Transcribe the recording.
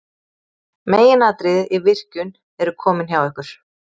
meginatriðin í virkjun eru komin hjá ykkur